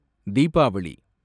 Deepavali